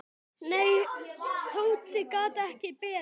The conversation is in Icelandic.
Nei, Tóti gat ekki beðið.